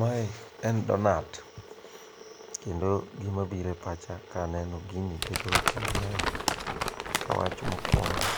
Mae en donuts kendo gimabiro e pacha ka aneno ginie keto weche mangeny, ka wach mokuongo'